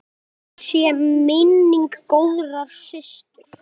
Blessuð sé minning góðrar systur.